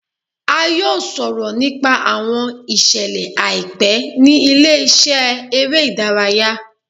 A yoo sọrọ nipa awọn iṣẹlẹ aipẹ ni ile-iṣẹ ere idaraya